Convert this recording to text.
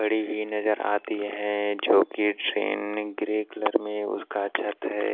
पड़ी हुई नजर आती है जो कि ट्रेन ग्रे कलर में उसका छत है।